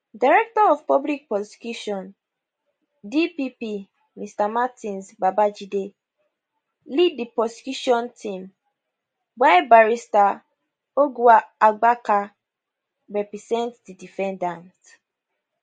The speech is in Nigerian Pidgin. director of public prosecution dpp mr martins babajide lead di prosecution team while barrister ogwuagbaka represent di defendant